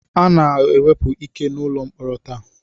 A na-ewepụ ike n'ụlọ mkpọrọ taa